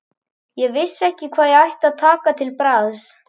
Ég vissi ekki hvað ég ætti að taka til bragðs.